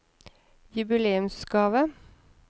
jubileumsgave